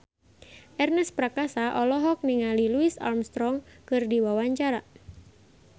Ernest Prakasa olohok ningali Louis Armstrong keur diwawancara